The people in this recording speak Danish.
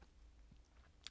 TV 2